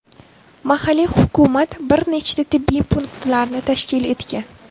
Mahalliy hukumat bir nechta tibbiy punktlarni tashkil etgan.